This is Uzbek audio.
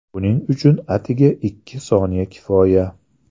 Buning uchun atigi ikki soniya kifoya.